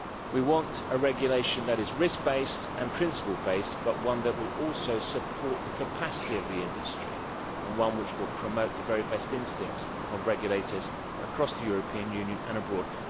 We want a regulation that is risk based and principle based, but one that will also support the capacity of the industry and one that will promote the very best instincts of regulators across the European Union and abroad.